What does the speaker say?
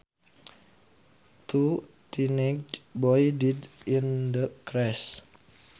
Two teenage boys died in the crash